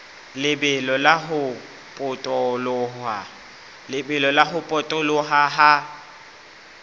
lebelo la ho potoloha ha